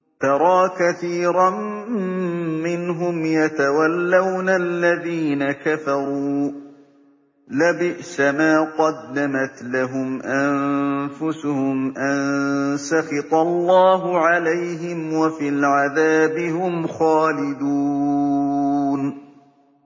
تَرَىٰ كَثِيرًا مِّنْهُمْ يَتَوَلَّوْنَ الَّذِينَ كَفَرُوا ۚ لَبِئْسَ مَا قَدَّمَتْ لَهُمْ أَنفُسُهُمْ أَن سَخِطَ اللَّهُ عَلَيْهِمْ وَفِي الْعَذَابِ هُمْ خَالِدُونَ